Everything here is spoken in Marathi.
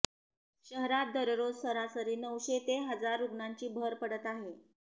शहरात दररोज सरासरी नऊशे ते हजार रुग्णांची भर पडत आहे